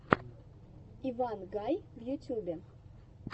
иван гай в ютубе